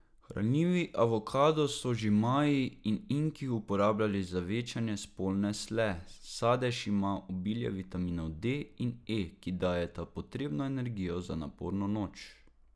Hranljivi avokado so že Maji in Inki uporabljali za večanje spolne sle, sadež ima obilje vitaminov D in E, ki dajeta potrebno energijo za naporno noč.